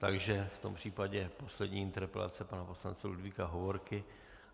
Takže v tom případě poslední interpelace pana poslance Ludvíka Hovorky.